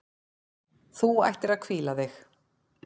Þú ættir að hvíla þig.